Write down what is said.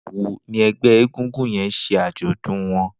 Nigbà wó ni ẹgbẹ égúngún yèn ṣé ájọ̀dún wọn?